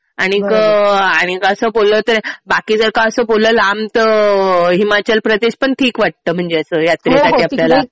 आणि असं बोललं तर बाकी जर का असं कुठलं लांब तर हिमाचल प्रदेश पण ठीक वाटतं. म्हणजे असं यात्रेसाठी आपल्याला.